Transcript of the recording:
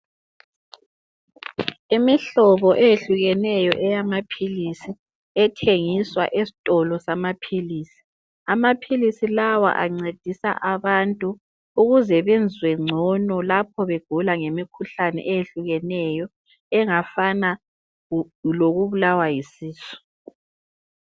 Imihlobo eyehlukeneyo eyamaphilisi ethengiswa esitolo samaphilisi. Amaphilisi lawa ancedisa abantu ukuze bezwe ngcono lapho begula ngemikhuhlane eyehlukeneyo engafana lokubulawa yisisu.